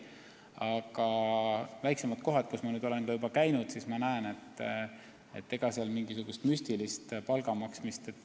Aga ma olen juba nüüdseks käinud ka väiksemates kohtades ja näinud, et ega seal ei ole võimalik mingisugust müstilist palka maksta.